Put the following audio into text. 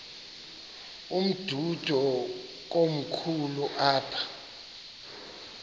umdudo komkhulu apha